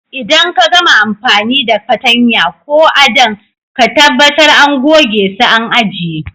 Idan ka gama amfani da fatanya ko à'dan, ka tabatar àn goge su àn ajie.